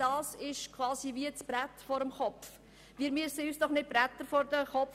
Wir brauchen doch kein Brett vor dem Kopf!